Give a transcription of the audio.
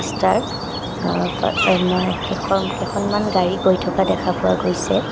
যাৰ অ ফালে মই একেখন কেইখনমান গাড়ী গৈ থকা দেখা পোৱা গৈছে।